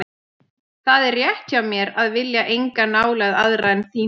Það er rétt hjá mér að vilja enga nálægð aðra en þína.